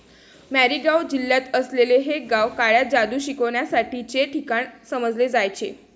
मॅरीगाव जिल्ह्यात असलेले हे गाव काळ्या जादू शिकण्यासाठीचे ठिकाण समजले जायचे.